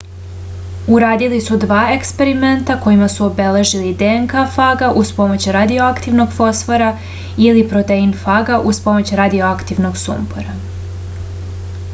uradili su dva eksperimenta kojima su obeležili dnk faga uz pomoć radioaktivnog fosfora ili protein faga uz pomoć radioaktivnog sumpora